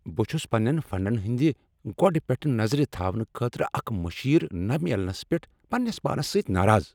بہٕ چُھس پننین فنڈن ہٕندِ گۄڈٕ پیٹھہٕ نظر تھاونہ خٲطرٕ اکھ مشیر نَہ مِلنس پیٹھ پننس پانس سۭتۍ ناراض ۔